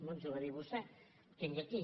no ens ho va dir vostè ho tinc aquí